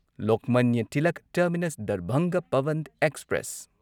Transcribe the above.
Lokmanya Tilak Terminus Darbhanga Pawan express